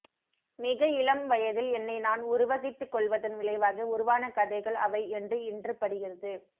மிக இளம் வயதில் என்னை நான் உருவகித்துக்கொள்வதன் விளைவாக உருவான கதைகள் அவை என்று இன்று படுகிறது